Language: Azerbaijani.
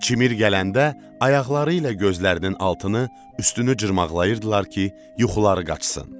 Çimir gələndə ayaqları ilə gözlərinin altını, üstünü cırmaqlayırdılar ki, yuxuları qaçsın.